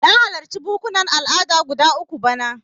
Na halarci bukkunan al'ada guda uku bana.